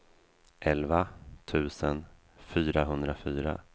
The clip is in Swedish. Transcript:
elva tusen fyrahundrafyra